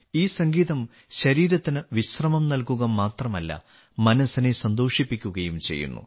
ഈ സംഗീതം ശരീരത്തിന് വിശ്രമം നല്കുക മാത്രമല്ല മനസ്സിനെ സന്തോഷിപ്പിക്കുകയും ചെയ്യുന്നു